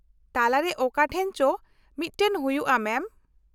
ᱛᱟᱞᱟᱨᱮ ᱚᱠᱟᱴᱷᱮᱱ ᱪᱚ ᱢᱤᱫᱴᱟᱝ ᱦᱩᱭᱩᱜᱼᱟ, ᱢᱮᱢ ᱾